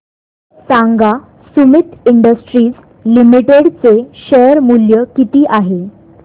सांगा Sumeet industries limited चे share मूल्य किती आहे